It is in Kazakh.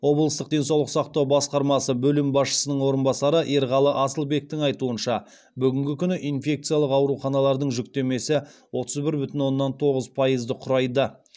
облыстық денсаулық сақтау басқармасы бөлім басшысының орынбасары ерғалы асылбектің айтуынша бүгінгі күні инфекциялық ауруханалардың жүктемесі отыз бір бүтін оннан тоғыз пайызды құрайды